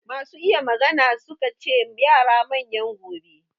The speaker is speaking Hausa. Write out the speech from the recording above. Masu iya magana su ka ce yara manyan gobe.